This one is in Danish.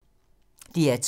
DR2